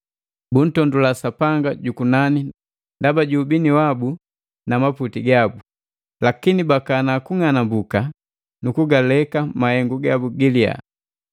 buntondula Sapanga jukunani ndaba ju ubini wabu nu maputi gabu. Lakini bakana kunganambuka nu kugaleka mahengu gabu giliya.